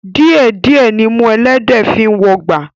Díẹ̀ díẹ̀ nimú ẹlẹ́dẹ̀ẹ́ fi ń wọgbà